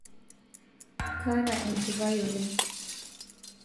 kaata enchipai oleng